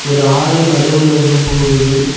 ஒரு ஆறு நடுவுல ஒன்னு போகுது.